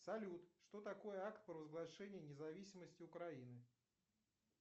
салют что такое акт провозглашения независимости украины